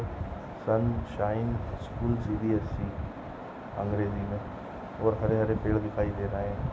sunshine school CBSE अंग्रेजी मे और हरे हरे पेड दिखाइ दे रहे है|